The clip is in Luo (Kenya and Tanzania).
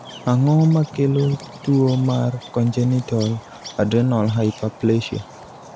ang'o makelo tuo mar Congenital adrenal hyperplasia?